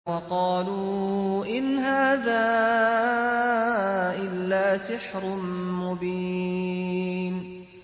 وَقَالُوا إِنْ هَٰذَا إِلَّا سِحْرٌ مُّبِينٌ